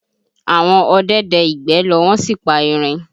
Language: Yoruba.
Àwọn ọdẹ dẹ ìgbẹ́ lọ wọ́n sì pa erin